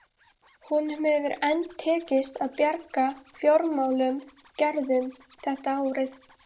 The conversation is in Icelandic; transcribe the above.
Honum hefur enn tekist að bjarga fjármálum Gerðar þetta árið.